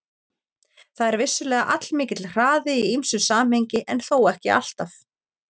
Það er vissulega allmikill hraði í ýmsu samhengi en þó ekki alltaf.